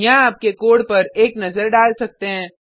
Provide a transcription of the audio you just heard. यहाँ आप कोड पर एक नज़र डाल सकते हैं